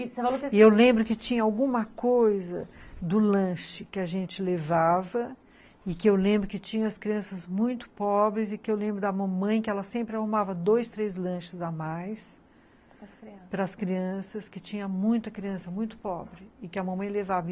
E eu lembro que tinha alguma coisa do lanche que a gente levava e que eu lembro que tinha as crianças muito pobres e que eu lembro da mamãe que ela sempre arrumava dois, três lanches a mais para as crianças, que tinha muita criança muito pobre e que a mamãe levava.